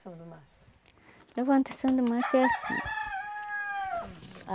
do mastro. Levantação do mastro é assim.